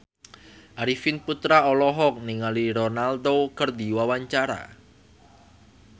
Arifin Putra olohok ningali Ronaldo keur diwawancara